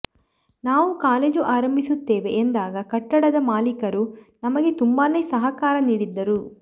ನಾವು ಕಾಲೇಜು ಆರಂಭಿಸುತ್ತೇವೆ ಎಂದಾಗ ಕಟ್ಟಡದ ಮಾಲೀಕರೂ ನಮಗೆ ತುಂಬಾನೇ ಸಹಕಾರ ನೀಡಿದ್ದರು